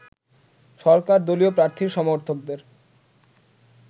সরকার দলীয় প্রার্থীর সমর্থকদের